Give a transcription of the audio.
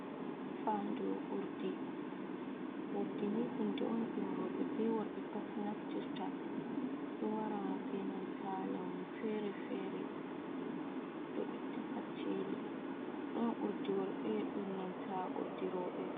Fadu Urdi, Urdi ni hunɗe on ɗum roɓe be worɓe pat naftirta, ɗo wara ɓe nanta launu fere-fere, do itta kacceli, ɗon urdi worɓe ɗon nanta Urdi roɓe.